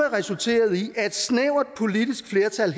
resulteret i at et snævert politisk flertal